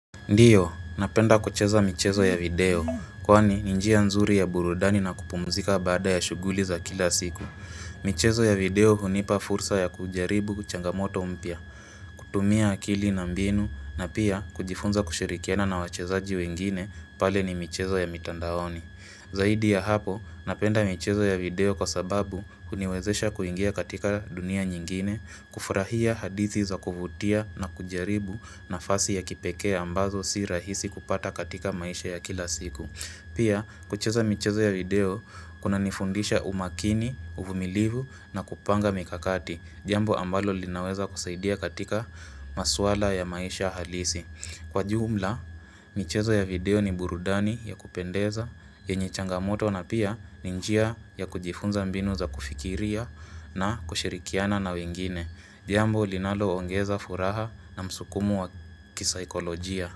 Ndiyo, napenda kucheza michezo ya video, kwani ni njia nzuri ya burudani na kupumzika baada ya shughuli za kila siku. Michezo ya video hunipa fursa ya kujaribu ku changamoto mpya, kutumia akili na mbinu, na pia kujifunza kushirikiana na wachezaji wengine pale ni michezo ya mitandaoni. Zaidi ya hapo, napenda michezo ya video kwa sababu huniwezesha kuingia katika dunia nyingine, kufurahia hadithi za kuvutia na kujaribu nafasi ya kipekee ambazo si rahisi kupata katika maisha ya kila siku. Pia, kucheza michezo ya video, kunanifundisha umakini, uvumilivu na kupanga mikakati, jambo ambalo linaweza kusaidia katika maswala ya maisha halisi. Kwa jumla, michezo ya video ni burudani ya kupendeza, yenye changamoto na pia ni njia ya kujifunza mbinu za kufikiria na kushirikiana na wengine. Jambo, linaloongeza furaha na msukumo wa kisaikolojia.